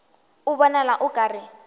a bonala o ka re